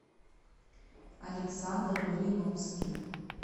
александр малиновский